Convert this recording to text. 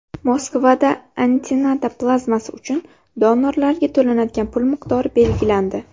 Moskvada antitana plazmasi uchun donorlarga to‘lanadigan pul miqdori belgilandi.